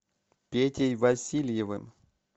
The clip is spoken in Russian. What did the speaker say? петей васильевым